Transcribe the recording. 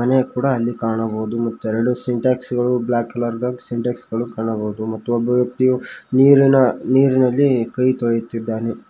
ಮನೆ ಕೂಡ ಅಲ್ಲಿ ಕಾಣಬಹುದು ಮತ್ತು ಎರಡು ಸಿಂಟೆಕ್ಸ್ ಗಳು ಬ್ಲಾಕ್ ಕಲರ್ ದಾಗ ಸಿಂಟೆಕ್ಸ್ ಗಳು ಕಾಣಬಹುದು ಮತ್ತು ಒಬ್ಬ ವ್ಯಕ್ತಿಯು ನೀರಿನ ನೀರಿನಲ್ಲಿ ಕೈ ತೊಳೆಯುತ್ತಿದಾನೆ.